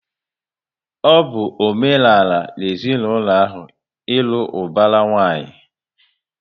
Ọ bụ omenala na ezinaụlọ ahụ, ịlụ ubara nwanyi